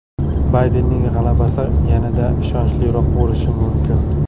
Baydenning g‘alabasi yanada ishonchliroq bo‘lishi mumkin.